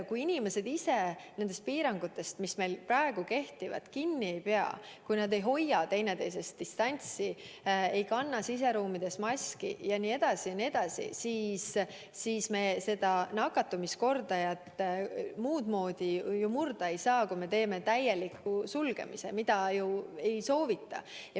Kui inimesed ise nendest piirangutest, mis meil praegu kehtivad, kinni ei pea, kui nad ei hoia üksteisest distantsi, ei kanna siseruumides maski jne, jne, siis me nakatumiskordajat muud moodi ju murda ei saa, kui minnes täielikule sulgemisele, mida aga ei soovita.